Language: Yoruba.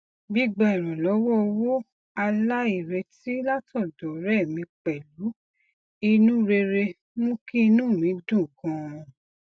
gbigba ìrànlọwọ owó aláìretí látọdọ ọrẹ mi pẹlú inú rere mú kí inú mi dùn ganan